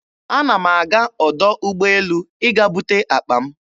Ana m aga ọdọ ụgbọelu ịga bute akpa m.